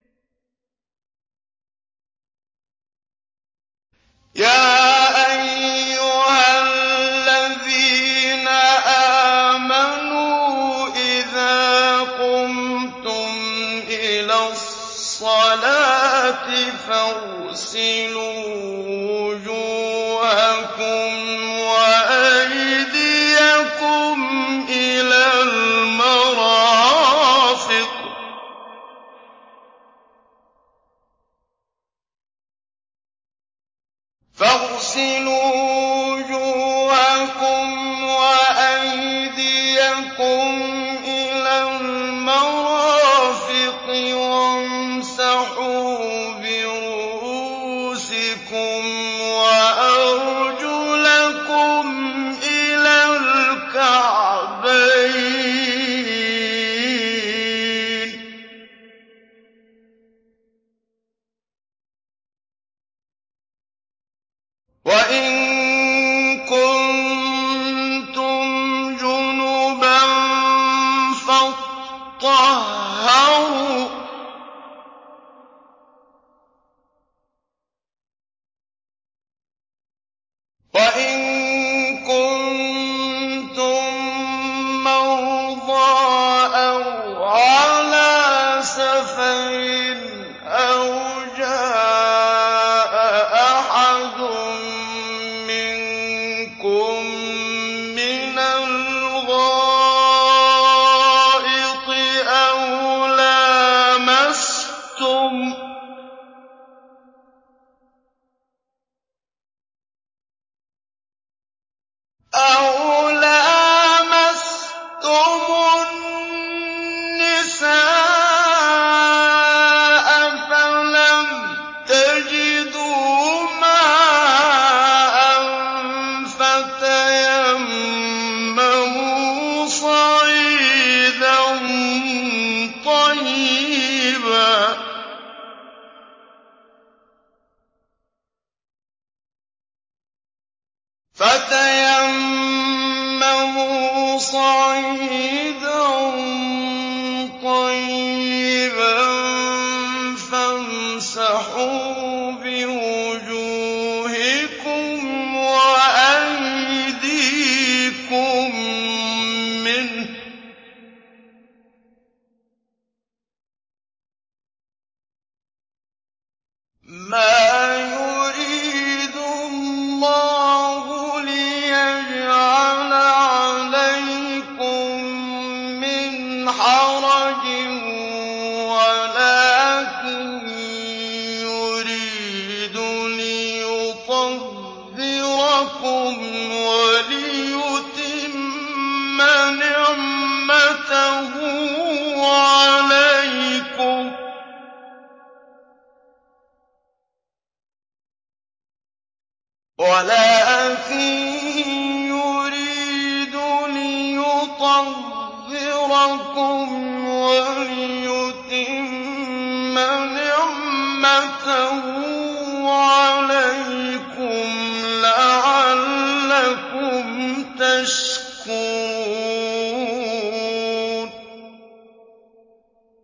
يَا أَيُّهَا الَّذِينَ آمَنُوا إِذَا قُمْتُمْ إِلَى الصَّلَاةِ فَاغْسِلُوا وُجُوهَكُمْ وَأَيْدِيَكُمْ إِلَى الْمَرَافِقِ وَامْسَحُوا بِرُءُوسِكُمْ وَأَرْجُلَكُمْ إِلَى الْكَعْبَيْنِ ۚ وَإِن كُنتُمْ جُنُبًا فَاطَّهَّرُوا ۚ وَإِن كُنتُم مَّرْضَىٰ أَوْ عَلَىٰ سَفَرٍ أَوْ جَاءَ أَحَدٌ مِّنكُم مِّنَ الْغَائِطِ أَوْ لَامَسْتُمُ النِّسَاءَ فَلَمْ تَجِدُوا مَاءً فَتَيَمَّمُوا صَعِيدًا طَيِّبًا فَامْسَحُوا بِوُجُوهِكُمْ وَأَيْدِيكُم مِّنْهُ ۚ مَا يُرِيدُ اللَّهُ لِيَجْعَلَ عَلَيْكُم مِّنْ حَرَجٍ وَلَٰكِن يُرِيدُ لِيُطَهِّرَكُمْ وَلِيُتِمَّ نِعْمَتَهُ عَلَيْكُمْ لَعَلَّكُمْ تَشْكُرُونَ